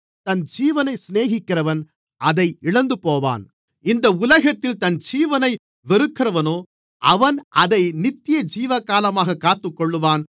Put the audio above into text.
தன் ஜீவனை சிநேகிக்கிறவன் அதை இழந்துபோவான் இந்த உலகத்தில் தன் ஜீவனை வெறுக்கிறவனோ அவன் அதை நித்தியஜீவகாலமாகக் காத்துக்கொள்ளுவான்